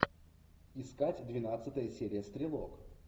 искать двенадцатая серия стрелок